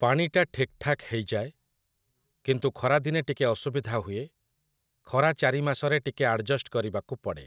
ପାଣି ଟା ଠିକ୍‌ଠାକ୍‌ ହେଇଯାଏ । କିନ୍ତୁ ଖରାଦିନେ ଟିକେ ଅସୁବିଧା ହୁଏ । ଖରା ଚାରି ମାସରେ ଟିକେ ଆଡ଼ଜଷ୍ଟ କରିବାକୁ ପଡ଼େ ।